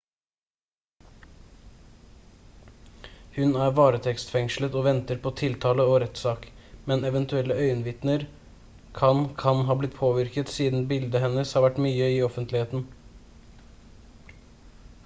hun er varetektsfengslet og venter på tiltale og rettssak men eventuelle øyenvitner kan kan ha blitt påvirket siden bildet hennes har vært mye i offentligheten